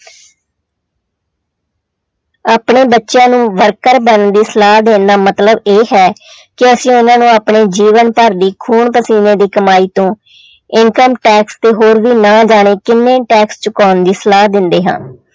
ਆਪਣੇ ਬੱਚਿਆਂ ਨੂੰ worker ਬਣਨ ਦੀ ਸਲਾਹ ਦੇਣ ਦਾ ਮਤਲਬ ਇਹ ਹੈ ਕਿ ਅਸੀਂ ਉਹਨਾਂ ਨੂੰ ਆਪਣੇ ਜੀਵਨ ਭਰ ਦੀ ਖੂਨ ਪਸੀਨੇ ਦੀ ਕਮਾਈ ਤੋਂ income tax ਤੇ ਹੋਰ ਵੀ ਨਾ ਜਾਣੇ ਕਿੰਨੇ ਹੀ tax ਚੁਕਾਉਣ ਦੀ ਸਲਾਹ ਦਿੰਦੇ ਹਾਂ।